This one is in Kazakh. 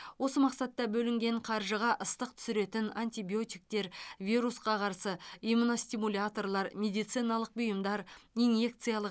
осы мақсатта бөлінген қаржыға ыстық түсіретін антибиотиктер вирусқа қарсы иммуностимуляторлар медициналық бұйымдар инъекциялық